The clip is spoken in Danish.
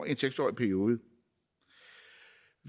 en seks årig periode